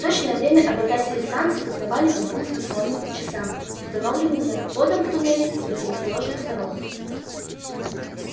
точное время обитатели станции узнавали по двум станционным часам установленным над входом в туннели с противоположных сторон